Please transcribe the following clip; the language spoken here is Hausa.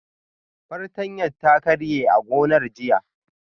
Fartanya ta karye a gonar jiya